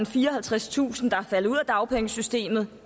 fireoghalvtredstusind der er faldet ud af dagpengesystemet